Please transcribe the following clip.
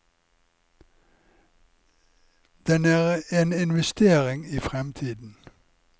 Den er en investering i fremtiden.